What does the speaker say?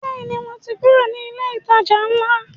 Bẹ́ẹ̀ni, mo ti kúrò ní ilé ìtajà ńlá